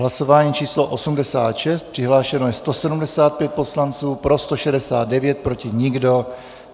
Hlasování číslo 86, přihlášeno je 175 poslanců, pro 169, proti nikdo.